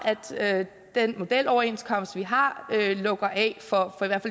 at den modeloverenskomst vi har lukker af for